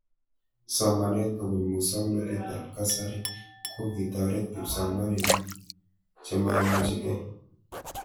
Somanet kopun muswognatet ab kasari ko kitaret kipsomanik chemaimuchikei